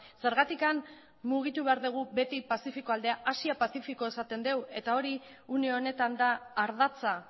zergatik mugitu behar dugu beti pazifiko aldea asia pazifikoa esaten dugu eta hori une honetan da ardatza